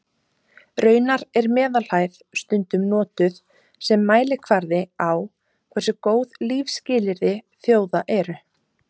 Raunar er meðalhæð stundum notuð sem mælikvarði á hversu góð lífsskilyrði þjóða eru.